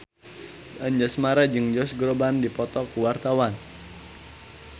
Anjasmara jeung Josh Groban keur dipoto ku wartawan